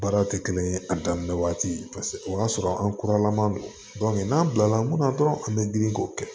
Baara tɛ kelen ye a daminɛ waati o y'a sɔrɔ an kuralaman don n'an bila la mun na dɔrɔn an bɛ girin k'o kɛ